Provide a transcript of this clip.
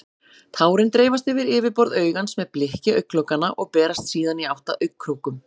Tárin dreifast yfir yfirborð augans með blikki augnlokanna og berast síðan í átt að augnkrókum.